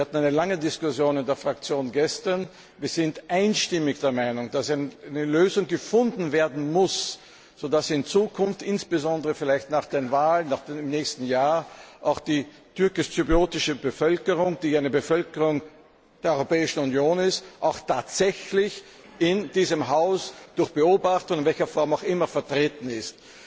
Wir hatten gestern eine lange Diskussion in der Fraktion und sind einstimmig der Meinung, dass eine Lösung gefunden werden muss, damit in Zukunft, insbesondere vielleicht nach den Wahlen im nächsten Jahr, auch die türkisch zyprische Bevölkerung, die eine Bevölkerung der Europäischen Union ist, auch tatsächlich in diesem Haus durch Beobachter in welcher Form auch immer vertreten ist.